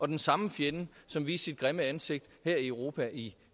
den samme fjende som viste sit grimme ansigt her i europa i